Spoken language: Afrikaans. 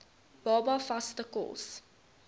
baba vaste kos